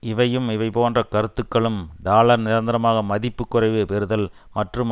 இவையும் இவைபோன்ற கருத்துக்களும் டாலர் நிரந்தரமாக மதிப்பு குறைவு பெறுதல் மற்றும்